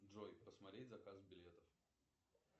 джой посмотреть заказ билетов